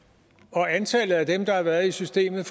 og antallet af dem der har været i systemet